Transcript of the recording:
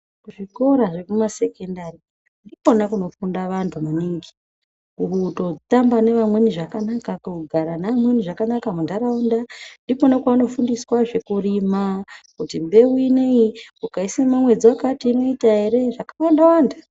Zvikora zvekumasekendari ndikona kunofunda vantu maningi kutotamba nevamweni zvakanaka kugara neamweni zvakanaka muntaraunda. Ndikona kwavanofundiswazve kurima kuti mbeu inoiyi ukaisima mwedzi vakati inoita ere zvakawana-wanda.